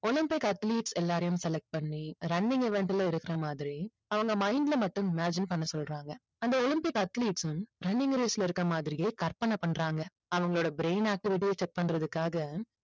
Olympic athletes எல்லாரையும் select பண்ணி running event ல இருக்கிற மாதிரி அவங்க mind ல மட்டும் imagine பண்ண சொல்றாங்க. அந்த ஒலிம்பிக் athletes உம் running race ல இருக்கிற மாதிரியே கற்பனை பண்றாங்க. அவங்களோட brain activity ய check பண்றதுக்காக